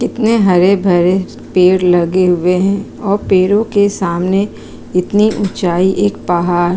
कितने हरे-भरे पेड़ लगे हुए हैं और पेड़ों के सामने इतनी ऊंचाई एक पहाड़ --